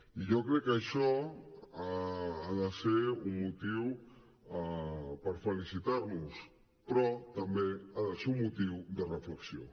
i jo crec que això ha de ser un motiu per felicitar nos però també ha de ser un motiu de reflexió